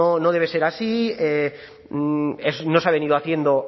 no debe ser así no se ha venido haciendo